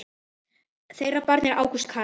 Þeirra barn er Ágúst Carl.